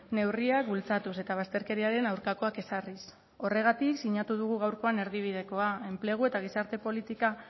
neurriak bultzatuz eta bazterkeriaren aurkakoak ezarriz horregatik sinatu dugu gaurkoan erdibidekoa enplegu eta gizarte politika